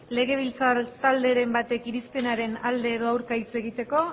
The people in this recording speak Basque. legebiltzar talderen batek irizpenaren alde edo aurka hitz egiteko